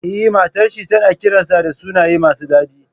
Eh, matar shi tana kiransa da sunaye masu dadi.